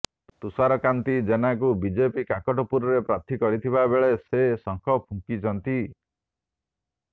ତୁଷାର କାନ୍ତି ଜେନାଙ୍କୁ ବିଜେପି କାକଟପୁରରେ ପ୍ରାର୍ଥୀ କରିଥିବା ବେଳେ ସେ ଶଙ୍ଖ ଫୁଙ୍କିଛନ୍ତି